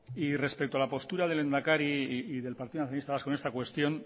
respecto a la postura del lehendakari y del partido nacionalista vasco en esta cuestión